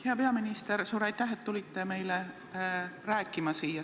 Hea peaminister, suur aitäh, et tulite meile siia rääkima.